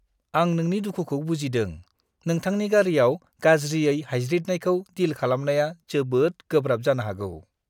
आं नोंनि दुखुखौ बुजिदों। नोंथांनि गारिआव गाज्रियै हायज्रिदनायखौ डिल खालामनाया जोबोद गोब्राब जानो हागौ।